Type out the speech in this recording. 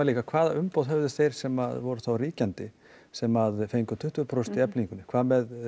líka hvaða umboð höfðu þeir sem voru þá ríkjandi sem fengu tuttugu prósent í Eflingu hvað með